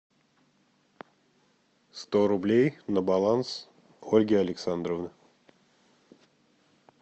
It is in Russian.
сто рублей на баланс ольги александровны